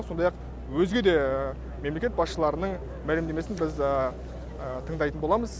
сондай ақ өзге де мемлекет басшыларының мәсімдемесін біз тыңдайтын боламыз